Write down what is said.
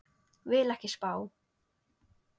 Vil ekki spá.